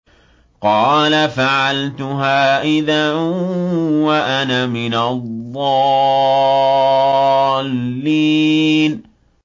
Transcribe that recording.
قَالَ فَعَلْتُهَا إِذًا وَأَنَا مِنَ الضَّالِّينَ